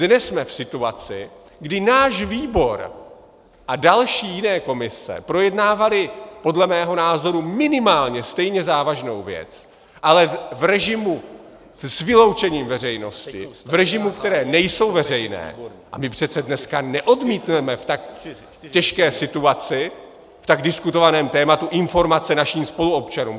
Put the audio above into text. Dnes jsme v situaci, kdy náš výbor a další jiné komise projednávaly podle mého názoru minimálně stejně závažnou věc, ale v režimu s vyloučením veřejnosti, v režimu, které nejsou veřejné, a my přece dneska neodmítneme v tak těžké situaci, v tak diskutovaném tématu informace našim spoluobčanům.